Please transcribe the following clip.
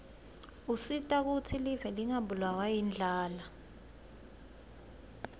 usita kutsi live lingabulawa yindlala